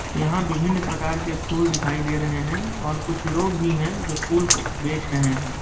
यहाँ विभिन प्रकार के फुल दिखाई दे रहे है और कुछ लोग भी है जो फुल को बेच रहे है।